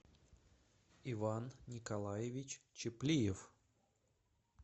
иван николаевич чеплиев